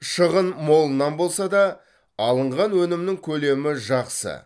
шығын молынан болса да алынған өнімнің көлемі жақсы